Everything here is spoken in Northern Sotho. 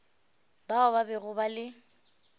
bao ba bego ba le